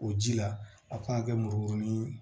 O ji la a kan ka kɛ murukurunin ye